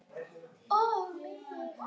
Og mig!